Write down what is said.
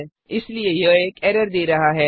इसलिए यह एक एरर दे रहा है